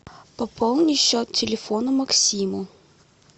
пополни счет телефона максиму